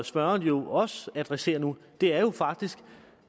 spørgeren jo også adresserer nu er faktisk